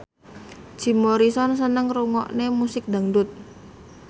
Jim Morrison seneng ngrungokne musik dangdut